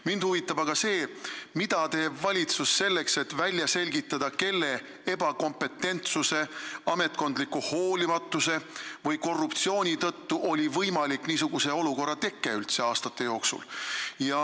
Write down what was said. Mind huvitab, mida teeb valitsus selleks, et välja selgitada, kelle ebakompetentsuse, ametkondliku hoolimatuse või korruptsiooni tõttu oli niisugune olukord aastate jooksul üldse võimalik.